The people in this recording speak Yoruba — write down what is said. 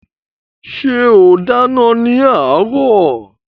Ṣé ó dáná ní àárọ̀?